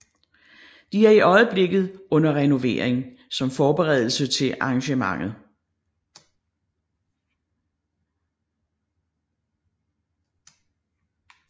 De er i øjeblikket under renovering som forberedelse til arrangementet